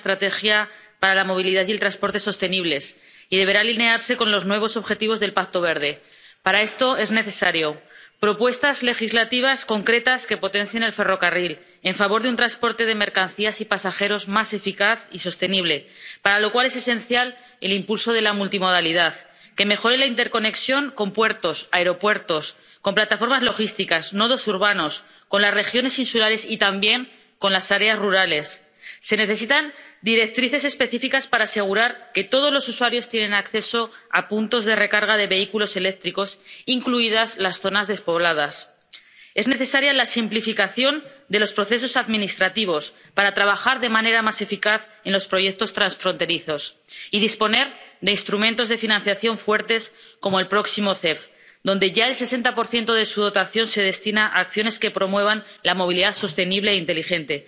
Señora presidenta, señora comisaria, la revisión del Reglamento sobre la RTE T será uno de los pilares fundamentales de la próxima estrategia para la movilidad y el transporte sostenibles y deberá alinearse con los nuevos objetivos del Pacto Verde. Para esto son necesarias propuestas legislativas concretas que potencien el ferrocarril, en favor de un transporte de mercancías y pasajeros más eficaz y sostenible, para lo cual es esencial el impulso de la multimodalidad, y que mejore la interconexión con puertos, aeropuertos, con plataformas logísticas, nodos urbanos, con las regiones insulares y también con las áreas rurales. Se necesitan directrices específicas para asegurar que todos los usuarios tienen acceso a puntos de recarga de vehículos eléctricos, incluso en las zonas despobladas. Es necesaria la simplificación de los procesos administrativos para trabajar de manera más eficaz en los proyectos transfronterizos. Y es necesario también disponer de instrumentos de financiación fuertes, como el próximo MCE, donde ya el 60 de su dotación se destina acciones que promuevan la movilidad sostenible e inteligente.